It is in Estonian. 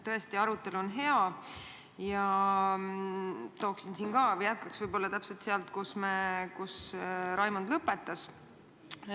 Tõesti, arutelu on hea, jätkaksin võib-olla täpselt sealt, kus Raimond lõpetas.